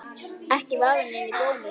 Ekki vafinn inn í bómull.